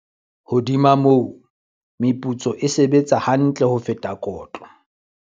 Hodima moo, meputso e sebetsa ha ntle ho feta kotlo.